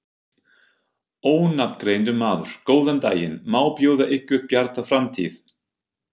Ónafngreindur maður: Góðan daginn, má bjóða ykkur Bjarta framtíð?